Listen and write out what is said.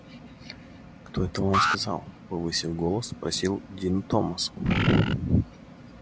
кто это вам сказал повысив голос спросил дин томас